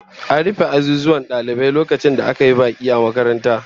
An rufe azuzuwan dalibai lokacin da aka yi baki a makarantar